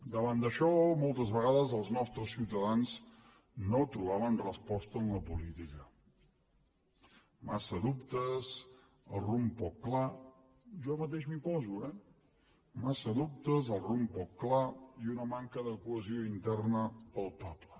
davant d’això moltes vegades els nostres ciutadans no trobaven resposta en la política massa dubtes el rumb poc clar jo mateix m’hi poso eh massa dubtes el rumb poc clar i una manca de cohesió interna palpable